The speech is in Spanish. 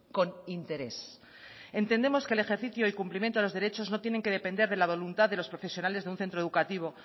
con interés entendemos que el ejercicio y cumplimiento de los derechos no tienen que depender de la voluntad de los profesionales de un centro educativo